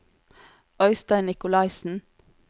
Øistein Nicolaisen